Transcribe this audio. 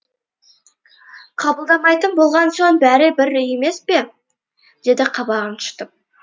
қабылдамайтын болған соң бәрі бір емес пе деді қабағын шытып